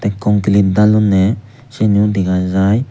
konklit dallonney seniyo dega jai.